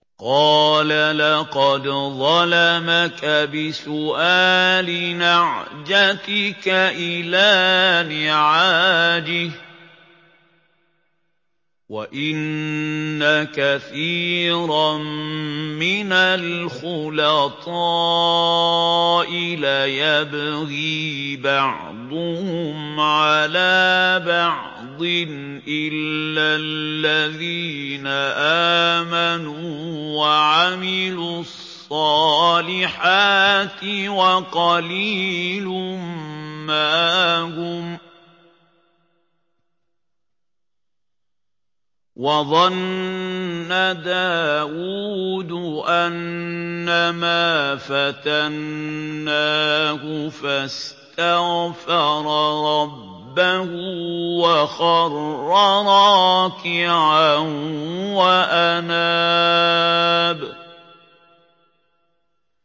قَالَ لَقَدْ ظَلَمَكَ بِسُؤَالِ نَعْجَتِكَ إِلَىٰ نِعَاجِهِ ۖ وَإِنَّ كَثِيرًا مِّنَ الْخُلَطَاءِ لَيَبْغِي بَعْضُهُمْ عَلَىٰ بَعْضٍ إِلَّا الَّذِينَ آمَنُوا وَعَمِلُوا الصَّالِحَاتِ وَقَلِيلٌ مَّا هُمْ ۗ وَظَنَّ دَاوُودُ أَنَّمَا فَتَنَّاهُ فَاسْتَغْفَرَ رَبَّهُ وَخَرَّ رَاكِعًا وَأَنَابَ ۩